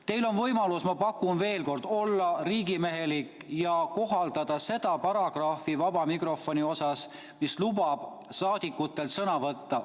Teil on võimalus, ma pakun veel kord, olla riigimehelik ja kohaldada seda paragrahvi vaba mikrofoni osas, mis lubab saadikutel sõna võtta.